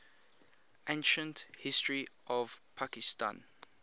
ancient history of pakistan